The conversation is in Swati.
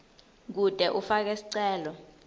kute ufake sicelo